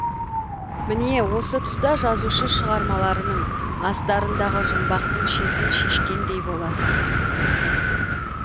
міне осы тұста жазушы шығармаларының астарындағы жұмбақтың шетін шешкендей боласың